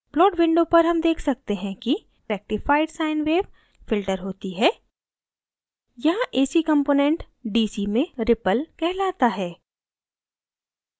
plot window पर हम देख सकते हैं कि rectified sine wave filtered होती है यहाँ ac component dc में ripple कहलाता है